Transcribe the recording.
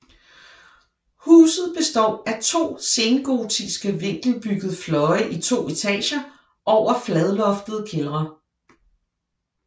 Huset består af to sengotiske vinkelbyggede fløje i to etager over fladloftede kældre